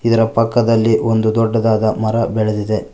ಇದರ ಪಕ್ಕದಲ್ಲಿ ಒಂದು ದೊಡ್ಡದಾದ ಮರ ಬೆಳದಿದೆ.